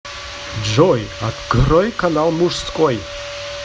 джой открой канал мужской